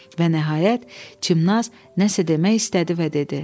Və nəhayət, Çimnaz nəsə demək istədi və dedi: